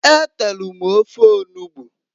E telu m ofe onugbu.